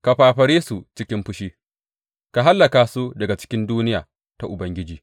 Ka fafare su cikin fushi ka hallaka su daga cikin duniya ta Ubangiji.